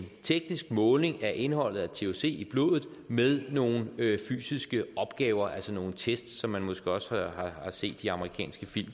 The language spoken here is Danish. teknisk måling af indholdet af thc i blodet med nogle fysiske opgaver altså nogle test som man måske også har set i amerikanske film